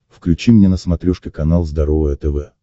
включи мне на смотрешке канал здоровое тв